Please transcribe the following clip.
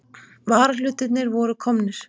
Varahlutirnir voru komnir.